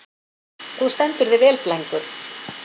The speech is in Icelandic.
Þú stendur þig vel, Blængur!